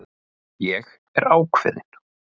Ég er ákveðin.